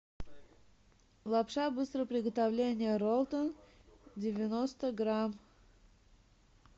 лапша быстрого приготовления ролтон девяносто грамм